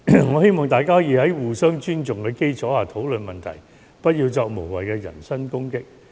我希望大家可以在互相尊重的基礎上討論問題，不要作無謂的人身攻擊。